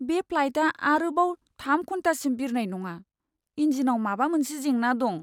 बे फ्लाइटआ आरोबाव थाम घन्टासिम बिरनाय नङा। इन्जिनाव माबा मोनसे जेंना दं।